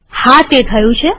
હા તે થયું છે